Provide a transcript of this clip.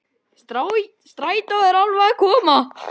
Strætó var alveg að koma.